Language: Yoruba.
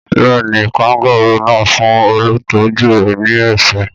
Bẹ́ẹ̀ ni, kangárù náà fún olùtọ́jú rẹ̀ ní ẹ̀ṣẹ́.